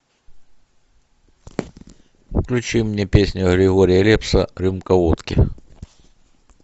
включи мне песню григория лепса рюмка водки